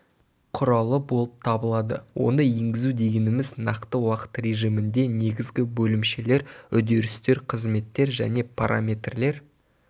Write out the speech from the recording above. құралы болып табылады оны енгізу дегеніміз нақты уақыт режимінде негізгі бөлімшелер үдерістер қызметтер және параметрлер